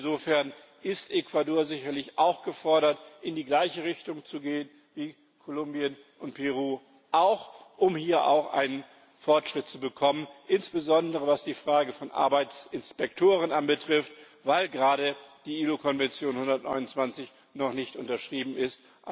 Insofern ist Ecuador sicherlich auch gefordert, in die gleiche Richtung zu gehen wie Kolumbien und Peru, auch um hier Fortschritte zu erzielen, insbesondere was die Frage von Arbeitsinspektoren anbetrifft, weil gerade die IAO Konvention 1929 noch nicht unterschrieben ist.